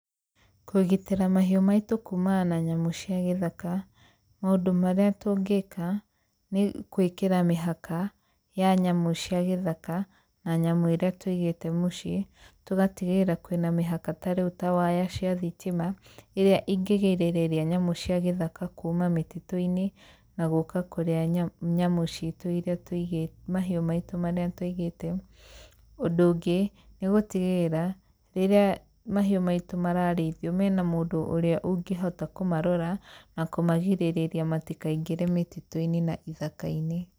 Kũgitĩra mahiũ maitũ kuumaa na nyamũ cia gĩthaka, maũndũ marĩa tũngĩka, nĩ gwĩkĩra mĩhaka, ya nyamũ cia gĩthaka, na nyamũ iria tũigĩte mũciĩ, tũgatigĩrĩra kwĩna mĩhaka ta rĩu ta waya cia thitima, ĩrĩa ingĩgĩrĩrĩria nyamũ cia gĩthaka kuuma mĩtitũ-inĩ, na gũka kũrĩa nyamũ ciitũ iria, mahiũ maitũ marĩa tũigĩte. Ũndũ ũngĩ nĩ gũtigĩrĩra rĩrĩa mahiũ maitũ mararĩithio, mena mũndũ ũrĩa ũngihota kũmarora na kũmagirĩrĩria matikaingĩre mĩtitũ-inĩ na ithaka-inĩ.